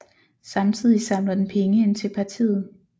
Samtidig samler den penge ind til partiet